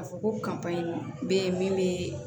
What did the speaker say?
A fɔ ko in bɛ ye min bɛ